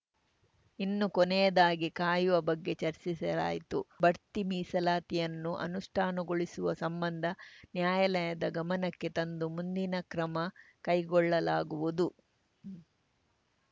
ಇನ್ನು ಕೊನೆಯದಾಗಿ ಕಾಯುವ ಬಗ್ಗೆ ಚರ್ಚಿಸಲಾಯಿತು ಬಡ್ತಿ ಮೀಸಲಾತಿಯನ್ನು ಅನುಷ್ಠಾನಗೊಳಿಸುವ ಸಂಬಂಧ ನ್ಯಾಯಾಲಯದ ಗಮನಕ್ಕೆ ತಂದು ಮುಂದಿನ ಕ್ರಮ ಕೈಗೊಳ್ಳಲಾಗುವುದು